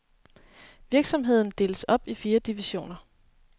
Virksomheden deles op i fire divisioner.